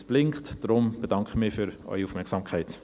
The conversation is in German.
Es blinkt, deshalb bedanke ich mich für Ihre Aufmerksamkeit.